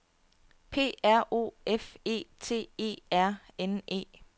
P R O F E T E R N E